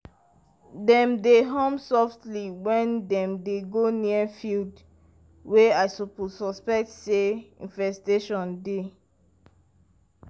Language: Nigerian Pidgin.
dem dey hum softly when dem dey go near field wey dem suspect say infestation dey.